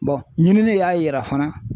ɲinini y'a yira fana